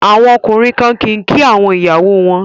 Àwọn ọkùnrin kan kì í kí àwọn ìyàwó wọn